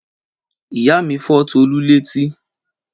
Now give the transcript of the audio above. Ìyá mi fọ́ Tọlú lẹ́tí.